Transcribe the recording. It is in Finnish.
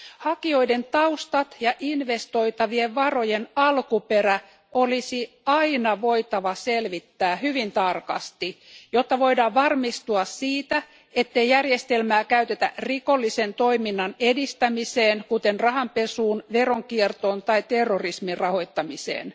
Hakijoiden taustat ja investoitavien varojen alkuperä olisi aina voitava selvittää hyvin tarkasti, jotta voidaan varmistua siitä, ettei järjestelmää käytetä rikollisen toiminnan edistämiseen, kuten rahanpesuun, veronkiertoon tai terrorismin rahoittamiseen.